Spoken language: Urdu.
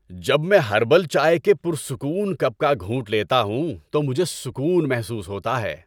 جب میں ہربل چائے کے پرسکون کپ کا گھونٹ لیتا ہوں تو مجھے سکون محسوس ہوتا ہے۔